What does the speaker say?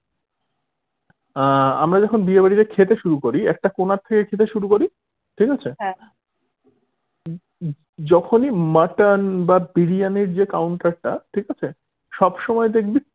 আহ আমরা যখন বিয়ে বাড়িতে খেতে শুরু করি একটা কোণা থেকে খেতে শুরু করি ঠিক আছে যখনি mutton বা বিরিয়ানির যে counter টা ঠিক আছে সবসময় দেখবি